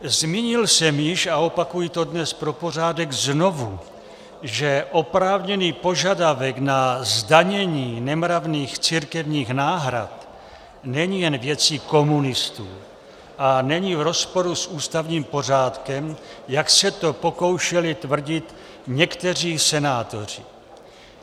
Zmínil jsem již a opakuji to dnes pro pořádek znovu, že oprávněný požadavek na zdanění nemravných církevních náhrad není jen věcí komunistů a není v rozporu s ústavním pořádkem, jak se to pokoušeli tvrdit někteří senátoři.